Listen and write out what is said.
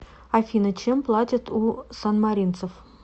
афина чем платят у санмаринцев